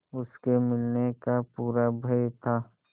उसके मिलने का पूरा भय था